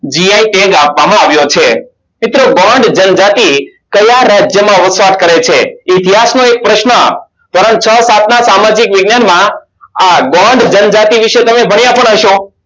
jio tag આપવામાં આવ્યો છે મિત્રો કયા રાજ્યમાં ઓચ્છત કરે છે ઇતિહાસનો એક પ્રશ્ન ધોરણ છ સાત ના સામાજિક વિજ્ઞાનમાં આ જતી વિષે તમે ભણ્યા પણ હસો